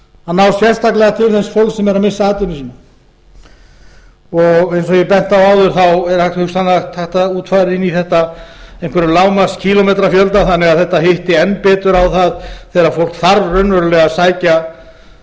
að ná sérstaklega til þess fólks sem er að missa atvinnu sína eins og ég benti á áður er hugsanlega hægt að útfæra inn í þetta einhverja lágmarkskílómetrafjölda þannig að þetta hitti enn betur á það þegar fólk þarf raunverulega að sækja